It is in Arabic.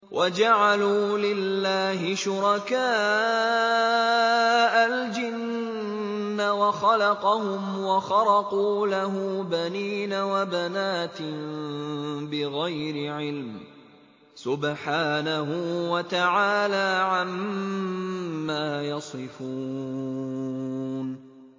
وَجَعَلُوا لِلَّهِ شُرَكَاءَ الْجِنَّ وَخَلَقَهُمْ ۖ وَخَرَقُوا لَهُ بَنِينَ وَبَنَاتٍ بِغَيْرِ عِلْمٍ ۚ سُبْحَانَهُ وَتَعَالَىٰ عَمَّا يَصِفُونَ